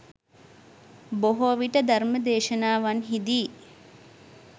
බොහෝවිට ධර්ම දේශනාවන්හිදී